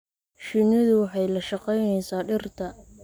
Shinnidu waxay la shaqaynaysaa dhirta.